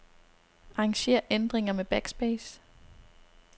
Arranger ændringer med backspace.